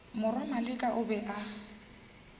morwa maleka o be a